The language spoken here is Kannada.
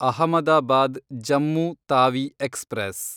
ಅಹಮದಾಬಾದ್ ಜಮ್ಮು ತಾವಿ ಎಕ್ಸ್‌ಪ್ರೆಸ್